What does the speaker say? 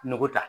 Nogo ta